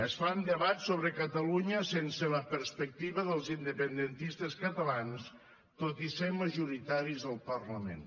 es fan debats sobre catalunya sense la perspectiva dels independentistes catalans tot i ser majoritaris al parlament